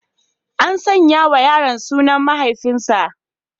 An sanya wa yaron sunan mahaifinsa.